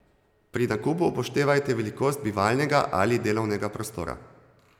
Pri nakupu upoštevajte velikost bivalnega ali delovnega prostora.